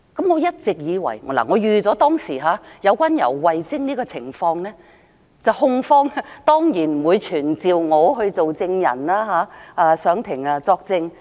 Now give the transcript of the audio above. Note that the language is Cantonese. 我一直以為......控方當然不會傳召我做證人，上庭作證。